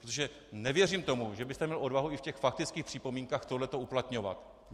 Protože nevěřím tomu, že byste měl odvahu i v těch faktických připomínkách tohle uplatňovat.